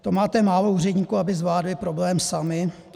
To máte málo úředníků, aby zvládli problém sami?